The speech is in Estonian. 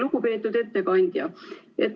Lugupeetud ettekandja!